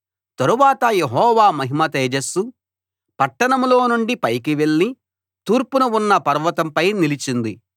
తరువాత యెహోవా మహిమ తేజస్సు పట్టణంలో నుండి పైకి వెళ్ళి తూర్పున ఉన్న పర్వతంపై నిలిచింది